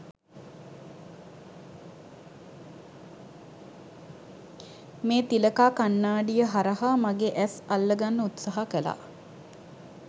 මේ තිලකා කණ්නාඩිය හරහා මගෙ ඇස් අල්ල ගන්න උත්සහා කලා.